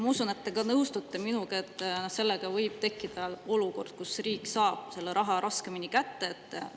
Ma usun, et te nõustute minuga, et sellega võib tekkida olukord, kus riik saab selle raha raskemini kätte.